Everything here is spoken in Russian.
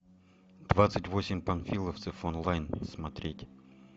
двадцать восемь панфиловцев онлайн смотреть